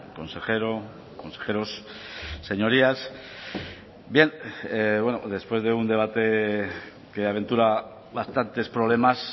consejero consejeros señorías bien después de un debate que aventura bastantes problemas